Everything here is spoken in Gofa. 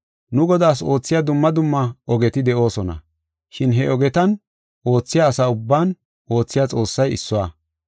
Nu Godaas oothiya dumma dumma ogeti de7oosona, shin he ogetan oothiya asa ubban oothiya Xoossay issuwa.